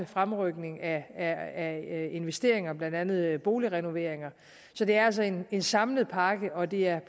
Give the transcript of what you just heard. fremrykning af af investeringer blandt andet boligrenoveringer så det er altså en en samlet pakke og det er